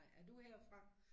Er du herfra?